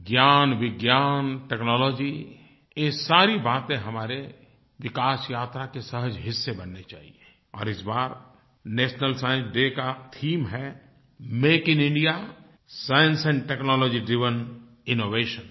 ज्ञान विज्ञान टेक्नोलॉजी ये सारी बातें हमारी विकास यात्रा के सहज हिस्से बनने चाहिए और इस बार नेशनल साइंस डे का थीम है make in India science and technology driven innovations